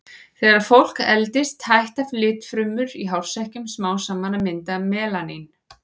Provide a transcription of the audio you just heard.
Þegar fólk eldist hætta litfrumurnar í hársekkjunum smám saman að mynda melanín.